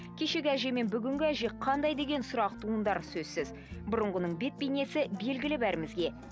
кешегі әже мен бүгінгі әже қандай деген сұрақ туындары сөзсіз бұрынғының бет бейнесі белгілі бәрімізге